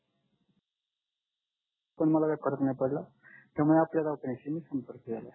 पण मला काय फरक नाही पडला त्यामुळे आपल्या गावच्याशी मी संपर्क केलाय